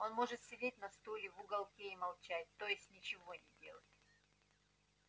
он может сидеть на стуле в уголке и молчать то есть ничего не делать